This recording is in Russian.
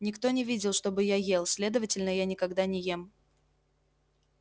никто не видел чтобы я ел следовательно я никогда не ем